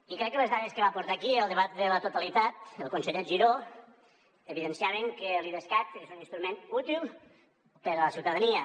i crec que les dades que va aportar aquí al debat de la totalitat el conseller giró evidenciaven que l’idescat és un instrument útil per a la ciutadania